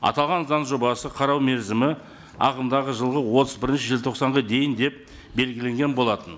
аталған заң жобасы қарау мерзімі ағымдағы жылғы отыз бірінші желтоқсанға дейін деп белгіленген болатын